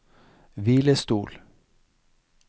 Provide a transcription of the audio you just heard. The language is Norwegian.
hvilestol